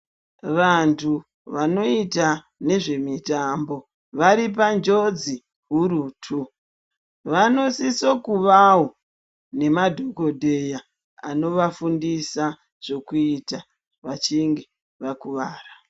Vanhtu vanoita nezvemitambo vari panjodzi hurutu. Vanosisa kuvawo nemadhokodheya anovafundisa zvekuita vachinge vakuwara.